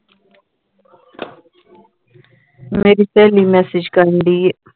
ਮੇਰੀ ਸਹੇਲੀ message ਕਰਨ ਢਈ ਹੈ